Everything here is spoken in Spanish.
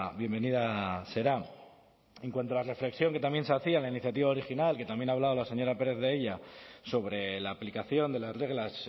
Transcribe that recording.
bienvenida será en cuanto a la reflexión que también se hacía en la iniciativa original que también ha hablado la señora pérez de ella sobre la aplicación de las reglas